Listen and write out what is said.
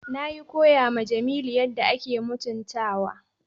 Nayi koya ma Jamilu yadda ake mutuntawa.